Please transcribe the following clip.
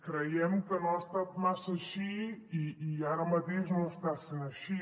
creiem que no ha estat massa així i ara mateix no està sent així